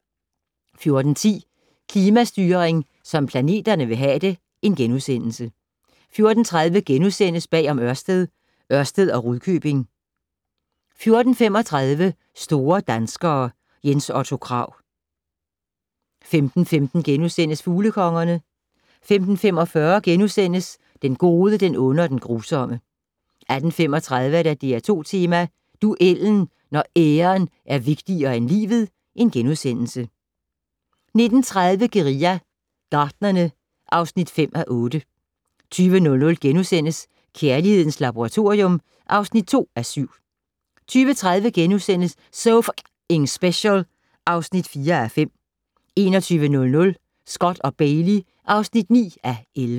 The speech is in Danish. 14:10: Klimastyring som planterne vil have det * 14:30: Bag om Ørsted - Ørsted og Rudkøbing * 14:35: Store danskere - Jens Otto Krag 15:15: Fuglekongerne * 15:45: Den gode, den onde og den grusomme 18:35: DR2 Tema: Duellen - når æren er vigtigere end livet * 19:30: Guerilla Gartnerne (5:8) 20:00: Kærlighedens Laboratorium (2:7)* 20:30: So F***ing Special (4:5)* 21:00: Scott & Bailey (9:11)